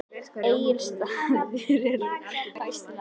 Egilsstaðir eru á Austurlandi.